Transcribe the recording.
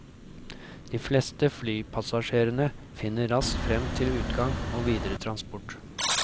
De fleste flypassasjerene finner raskt frem til utgang og videre transport.